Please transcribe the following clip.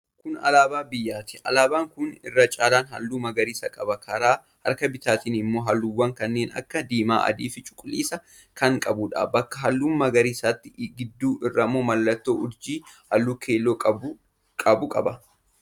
Kun alaabaa biyyaati. Alaabaan kun irra caalaan halluu magariisa qaba. Karaa harka bitaatiin immoo halluuwwan kanneen akka diimaa, adii fi cuquliisa kan qabuudha. Bakka halluu magariisaatiin gidduu irraa mallattoo urjii halluu keelloo qabu qaba.